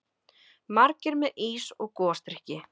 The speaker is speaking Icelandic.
Margir með ís og gosdrykki.